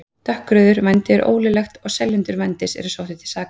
Dökkrauður: Vændi er ólöglegt og seljendur vændis eru sóttir til saka.